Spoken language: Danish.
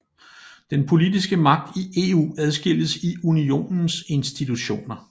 Den politiske magt i EU adskilles i unionens institutioner